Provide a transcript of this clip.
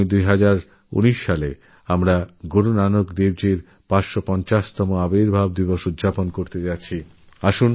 আগামী ২০১৯এ গুরু নানকের ৫৫০তম জন্মজয়ন্তী উদ্যাপিত হবে